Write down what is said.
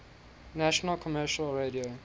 national commercial radio